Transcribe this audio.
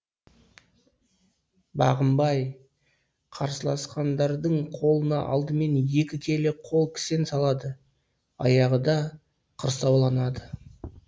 бағынбай қарсыласқандардың қолына алдымен екі келі қол кісен салады аяғы да құрсауланады